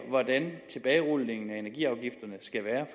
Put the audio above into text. hvordan tilbagerulningen af energiafgifterne skal være